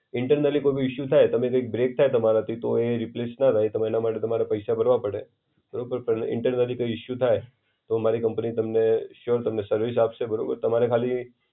Internally કોઈ બી issue થાય, તમે કૈક બ્રેક થાય તમારાથી તો એ રિપ્લેસ ન થાય, તમે એના માટે તમારે પૈસા ભરવા પડે. બરોબર પણ ઇન્ટેરનલી કોઈ ઇશુ થાય, તો મારી કંપની તમને શ્યોર તમને સર્વિસ આપસે બરોબર તમારે ખાલી